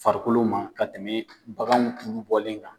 Farikolo ma ka tɛmɛ bagan tulu bɔlen kan.